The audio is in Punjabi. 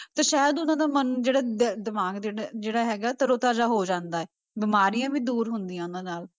ਤੇ ਸ਼ਾਇਦ ਉਹਨਾਂ ਦਾ ਮਨ ਜਿਹੜਾ ਦ~ ਦਿਮਾਗ ਦਿਲ ਜਿਹੜਾ ਹੈਗਾ ਤਰੋ ਤਾਜ਼ਾ ਹੋ ਜਾਂਦਾ ਹੈ ਬਿਮਾਰੀਆਂ ਵੀ ਦੂਰ ਹੁੰਦੀਆਂ ਉਹਨਾਂ ਨਾਲ।